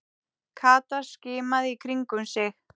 Kata skimaði í kringum sig.